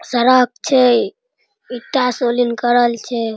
शराब छे | इटा करल छे |